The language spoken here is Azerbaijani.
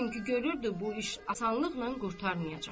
Çünki görürdü bu iş asanlıqla qurtarmayacaq.